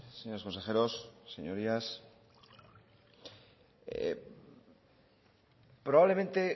señores consejeros señorías probablemente